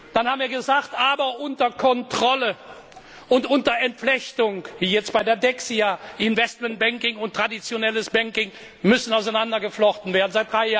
Dann haben wir gesagt Aber unter Kontrolle und mit Entflechtung wie jetzt bei der Dexia Investmentbanking und traditionelles Banking müssen entflochten werden.